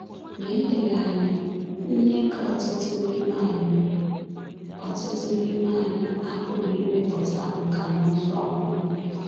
Ma eleghị anya, ihe ka ọtụtụ n’ime anyị ọtụtụ n’ime anyị apụghị imepụta nkà na ụzụ ọhụrụ.